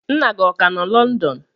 Nna gị ọ ka nọ London?